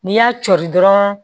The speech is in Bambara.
N'i y'a coi dɔrɔn